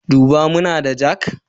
Duba muna da jak?